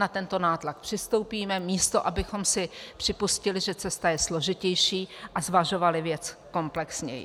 Na tento nátlak přistoupíme, místo abychom si připustili, že cesta je složitější, a zvažovali věc komplexněji.